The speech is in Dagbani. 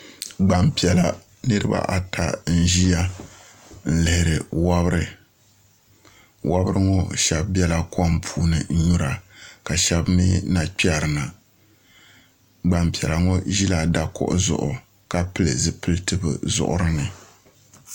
Gbanpiɛla niraba ata n ʒiya n lihiri wobiri wobiri ŋɔ shab biɛla kom puuni n nyura ka shab mii na kpɛri na gbanpiɛla ŋɔ ʒila dakuɣu zuɣu ka pili zipiliti bi zuɣuri ni